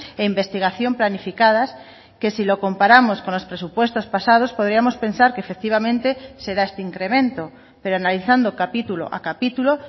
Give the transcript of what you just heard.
e investigación planificadas que si lo comparamos con los presupuestos pasados podríamos pensar que efectivamente se da este incremento pero analizando capítulo a capítulo